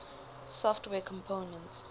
software components